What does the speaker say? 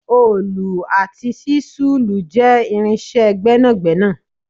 oolu ati ṣisulu je irinṣẹ gbénàgbénà